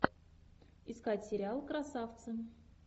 искать сериал красавцы